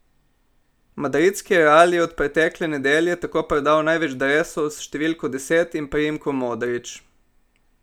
Madridski Real je od pretekle nedelje tako prodal največ dresov s številko deset in priimkom Modrić.